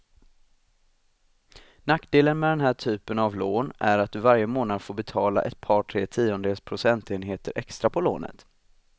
Nackdelen med den här typen av lån är att du varje månad får betala ett par, tre tiondels procentenheter extra på lånet.